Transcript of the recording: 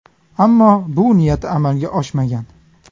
Ammo bu niyati amalga oshmagan.